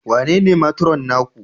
Wanene Matron naku?